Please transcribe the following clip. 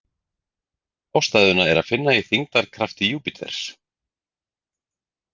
Ástæðuna er að finna í þyngdarkrafti Júpíters.